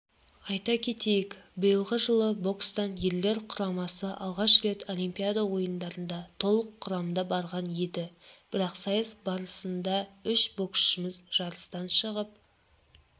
айта кетейік биылғы жылы бокстан ерлер құрамасы алғаш рет олимпиада ойындарына толық құрамада барған еді бірақ сайыс барысындаүш боксшымыз жарыстан шығып